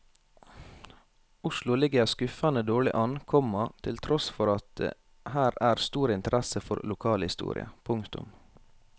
Oslo ligger skuffende dårlig an, komma til tross for at det her er stor interesse for lokalhistorie. punktum